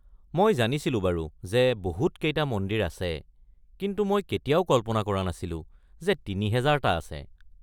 মই জানিছিলো বাৰু যে বহুত কেইটা মন্দিৰ আছে কিন্তু মই কেতিয়াও কল্পনা কৰা নাছিলো যে ৩০০০টা আছে।